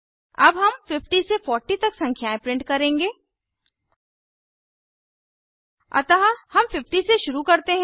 अब हम 50 से 40 तक संख्याएं प्रिंट करेंगे अतः हम 50 से शुरू करते हैं